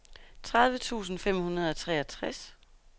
tredive tusind fem hundrede og treogtres